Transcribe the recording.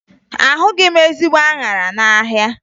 Ahụghị m ezigbo aṅara n'ahịa